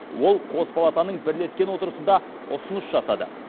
ол қос палатың бірлескен отырысында ұсыныс жасады